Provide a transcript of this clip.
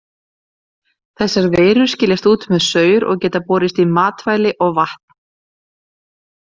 Þessar veirur skiljast út með saur og geta borist í matvæli og vatn.